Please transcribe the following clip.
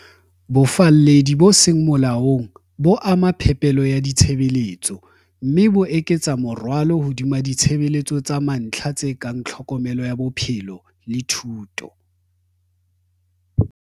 Bofalledi bo seng molaong bo ama phepelo ya ditshebeletso, mme bo eketsa morwalo hodima ditshebeletso tsa mantlha tse kang tlhokomelo ya bophelo le thuto.